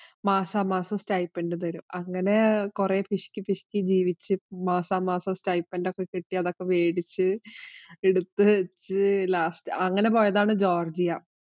മാസാമാസം stipend തരും. അങ്ങനെ കൊറേ പിശുക്കി, പിശുക്കി ജീവിച്ചു മാസാമാസം stipend ഒക്കെ കിട്ടി അതൊക്കെ വേടിച്ച് എടുത്തു വച്ച് last അങ്ങനെ പോയതാണ് ജോര്‍ജിയ.